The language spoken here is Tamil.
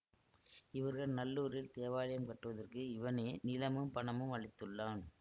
இவர்கள் நல்லூரில் தேவாலயம் கட்டுவதற்கு இவனே நிலமும் பணமும் அளித்துள்ளான்